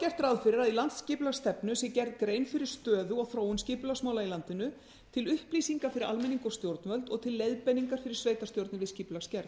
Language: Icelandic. gert ráð fyrir að í landsskipulagsstefnu sé gerð grein fyrir stöðu og þróun skipulagsmála í landinu til upplýsinga fyrir almenning og stjórnvöld og til leiðbeininga fyrir sveitarstjórnir í skipulagsgerð